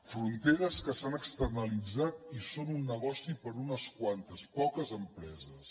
fronteres que s’han externalitzat i són un negoci per a unes quantes poques empreses